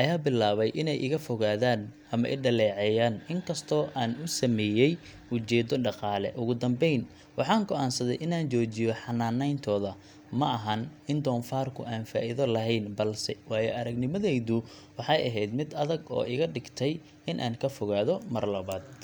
ayaa bilaabay inay iga fogaadaan ama i dhaleeceeyaan, inkastoo aan u sameeyay ujeeddo dhaqaale. Ugu dambayn, waxaan go’aansaday inaan joojiyo xanaaneyntooda. Ma ahan in doofaarku aanu faa’iido lahayn, balse waayo-aragnimadaydu waxay ahayd mid adag oo iga dhigtay in aan ka fogaado mar labaad.